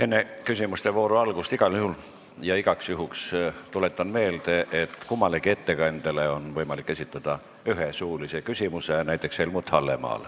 Enne küsimuste vooru algust igal juhul ja igaks juhuks tuletan meelde, et kummalegi ettekandjale on võimalik esitada üks suuline küsimus, näiteks Helmut Hallemaal.